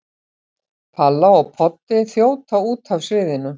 Palla og Poddi þjóta út af sviðinu.